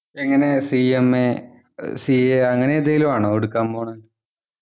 എങ്ങനെ CMA or CA അങ്ങനെ എന്തെങ്കിലുമാണോ എടുക്കാൻ പോണത്